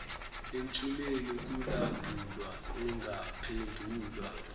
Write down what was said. emthumeni kulandulwa engaphendulwa